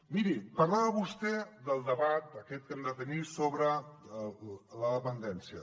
miri parlava vostè del debat aquest que hem de tenir sobre la dependència